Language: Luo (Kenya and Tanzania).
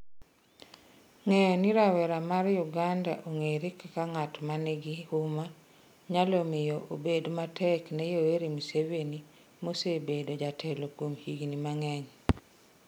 Ng'eyo ni rawera mar Uganda ong'ere kaka ng'at ma nigi huma, nyalo miyo obed matek ne Yoweri Museveni, ma osebedo jatelo kuom higini mang'eny.